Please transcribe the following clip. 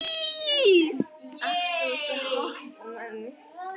Það var bankað á dyrnar og tekið í snerilinn.